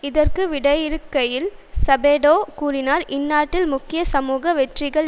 இதற்கு விடையிறுக்கையில் சபடோ கூறினார் இந்நாட்டில் முக்கிய சமூக வெற்றிகள்